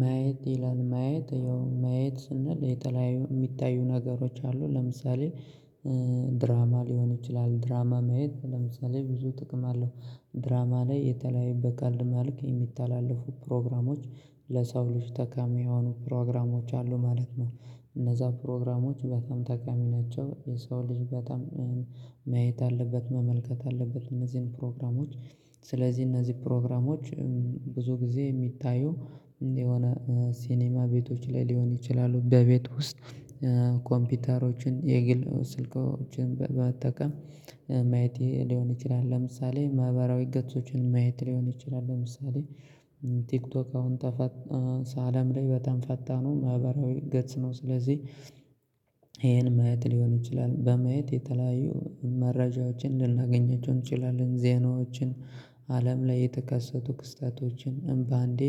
ማየት ይላል ማየት ያው ማየት ስንል የተለያዩ የሚታዩ ነገሮች አሉ። ለምሳሌ ድራማ ሊሆን ይችላል። ድራማ ማየት ለምሳሌ ብዙ ጥቅም አለው። ድራማ ላይ የተለያየ በቀልድ መልክ የሚታለፉ ፕሮግራሞች ለሰው ልጅ ተካሚ የሆኑ ፕሮግራሞች አሉ ማለት ነው። እነዛ ፕሮግራሞች በጣም ተቃሚ ናቸ። የሰው ልጅ በጣም መየት አለበት መመልከት አለበት። እነዚህን ፕሮግራሞች ስለዚህ እነዚህ ፕሮግራሞች ብዙ ጊዜ የሚታዩ የሆነ ሲኒማ ቤቶች ላይ ሊሆን ይችላ፣ በቤት ውስጥ ኮምፒውተሮችን፣ የግል ስልኮችን በአጠቃላይ ማየት ሊሆን ይችላል። ለምሳሌ ማህበራዊ ገጾችን ማየት ሊሆን ይችላል። ለምሳሌ ቲክቶክ አሁን ተፈት አለም ላይ በታም ፈታኑ ማህበራዊ ገጽ ነው። ስለዚህ ይሄን ማየት ሊሆን ይችላ። በማየት የተለያዩ መረጃዎችን ልናገኛቸው እንችላለን። ዜናዎችን አለም ላይ የተከሰቱ ክስተቶችን፣ እምባ እንዴ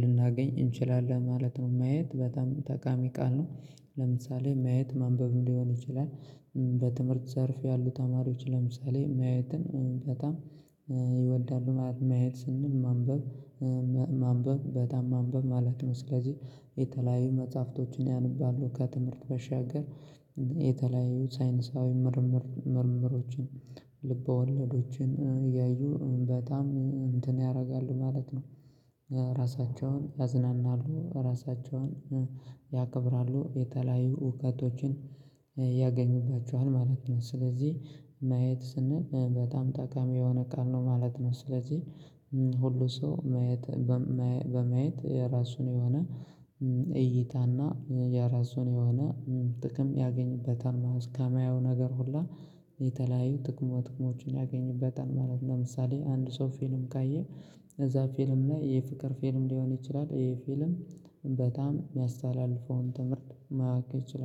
ልናገኝ እንችላለን ማለት ነው። ማየት በጣም ተቃሚ ቃል ነው ለምሳሌ ማየት ማንበብም ሊሆን ይችላል በትምህርት ዘርፍ ያሉ ተማሪዎች ለምሳሌ ማየትን በጣም ይወዳሉ። ማየት ስንል? ማንበብ ማንበብ በጣም ማንበብ ማለት ነው። ስለዚህ የተለያዩ መጽሐፍቶችን ያንባሉ ከትምህርት በሻገር የተለያዩ ሳይንሳዊ ምርምር ምርምሮችን፣ ልቦለዶችን ያዩ በጣም እንትን ያደርጋሉ ማለት ነው። ራሳቸውን ያዝናናሉ። ራሳቸውን ያከብራሉ። የተለያዩ እውቀቶችን ያገኙባቸዋል ማለት ነው። ስለዚህ ማየት ስንል በጣም ጠቃሚ የሆነ ቃል ነው ማለት ነው። ስለዚህ ሁሉ ሰው ማየት በማየት የራሱን የሆነ እይታና የራሱን የሆነ ጥቅም ያገኝበታል ማለት ነው። ከማየው ነገር ሁሉ የተለያዩ ጥቅሙ ጥቅሞችን ያገኝበታል ማለት ነው። ለምሳሌ አንድ ሰው ፊልም ካየ እዛ ፊልም ላይ የፍቅር ፊልም ሊሆን ይችላል። ይሄ ፊልም በጣም የሚያስተላልፈውን ትምህርት ማወቅ ይችላል።